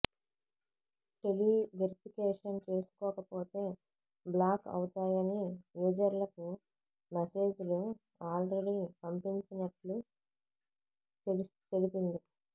televerification చేసుకోకపోతే block అవుతాయని యూజర్లకు మెసేజ్ లు ఆల్రెడీ పంపించించినట్టు తెలిపింది